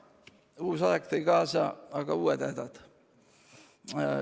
Aga uus aeg tõi kaasa uued hädad.